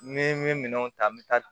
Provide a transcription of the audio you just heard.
Ni n bɛ minɛnw ta n bɛ taa